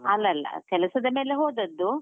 ಅಲ್ಲ ಅಲ್ಲ, ಕೆಲಸದ ಮೇಲೆ ಹೋದದ್ದು.